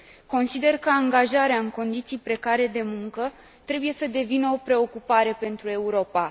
Consider că angajarea în condiții precare de muncă trebuie să devină o preocupare pentru Europa.